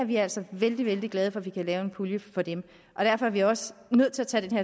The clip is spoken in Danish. vi er altså vældig vældig glade for at vi kan lave en pulje for dem og derfor er vi også nødt til at tage den